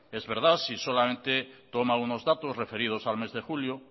es verdad si solamente toma unos datos referidos al mes de julio